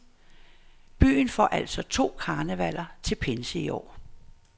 Byen får altså to karnevaller til pinse i år.